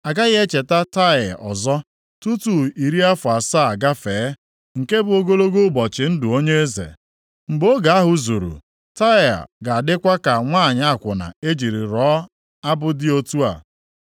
A gaghị echeta Taịa ọzọ, tutu iri afọ asaa agafee, nke bụ ogologo ụbọchị ndụ onye eze. Mgbe oge ahụ zuru, Taịa ga-adịkwa ka nwanyị akwụna e jiri rọọ abụ dị otu a: